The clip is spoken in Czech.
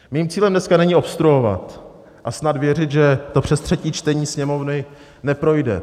Mým cílem dneska není obstruovat a snad věřit, že to přes třetí čtení Sněmovny neprojde.